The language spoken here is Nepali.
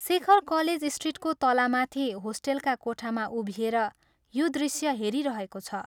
शेखर कलेज स्ट्रीटको तलामाथि होस्टेलका कोठामा उभिएर यो दृश्य हेरिरहेको छ।